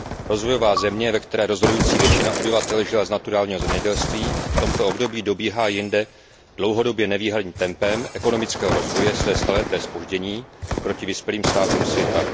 Rozvojová země, ve které rozhodující většina obyvatel žila z naturálního zemědělství, v tomto období dobíhá jinde dlouhodobě nevídaným tempem ekonomického rozvoje své staleté zpoždění proti vyspělým státům světa.